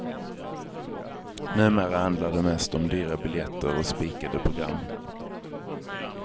Numera handlar det mest om dyra biljetter och spikade program.